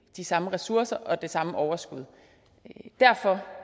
de samme ressourcer og det samme overskud derfor